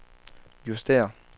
justér